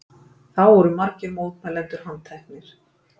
Þá voru margir mótmælendur handteknir